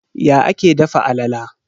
Ya ake dafa alala?